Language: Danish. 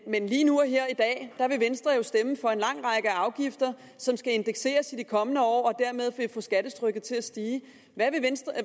men lige nu og her i dag vil venstre stemme for en lang række afgifter som skal indekseres i de kommende år og dermed vil få skattetrykket til at stige